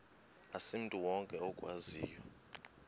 asimntu wonke okwaziyo